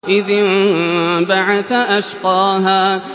إِذِ انبَعَثَ أَشْقَاهَا